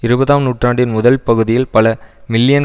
இருபதாம் நூற்றாண்டின் முதல் பகுதியில் பல மில்லியன்